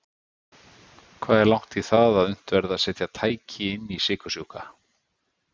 Hvað er langt í það að unnt verði að setja tæki inn í sykursjúka?